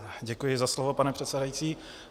Děkuji za slovo, pane předsedající.